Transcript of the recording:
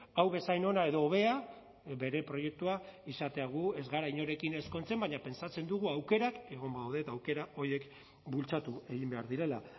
hau bezain ona edo hobea bere proiektua izatea gu ez gara inorekin ezkontzen baina pentsatzen dugu aukerak egon badaude eta aukera horiek bultzatu egin behar direla